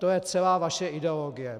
To je celá vaše ideologie.